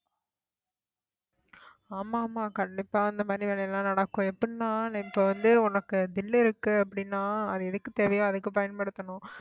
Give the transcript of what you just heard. ஆமா ஆமா கண்டிப்பா இந்த மாதிரி வேலையெல்லாம் நடக்கும் எப்படின்னா நான் இப்ப வந்து உனக்கு தில் இருக்கு அப்படின்னா அது எதுக்கு தேவையோ அதுக்கு பயன்படுத்தணும்